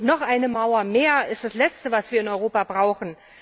Und noch eine Mauer mehr ist das Letzte, was wir in Europa brauchen.